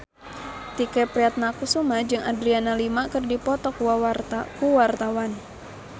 Tike Priatnakusuma jeung Adriana Lima keur dipoto ku wartawan